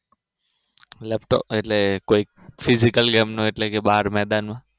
એટલે કોઈ phyisical game નો એટલે બાર મેદાન નો